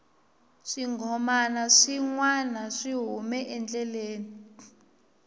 swinghomana swi nwana swi hume endleleni